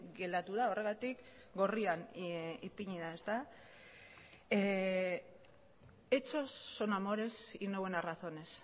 geratu da horregatik gorrian ipini da hechos son amores y no buenas razones